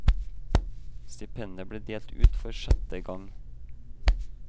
Stipendet ble delt ut for sjette gang.